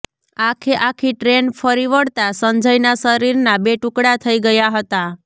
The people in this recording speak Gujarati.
આખે આખી ટ્રેન ફરી વળતા સંજયના શરીરના બે ટુકડા થઈ ગયા હતા